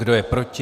Kdo je proti?